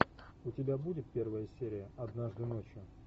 у тебя будет первая серия однажды ночью